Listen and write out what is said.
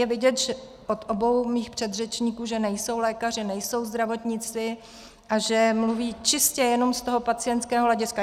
Je vidět u obou mých předřečníků, že nejsou lékaři, nejsou zdravotníci a že mluví čistě jenom z toho pacientského hlediska.